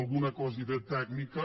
alguna quasi tècnica